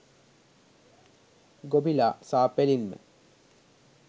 ගොබිලා සා.පෙලින්ම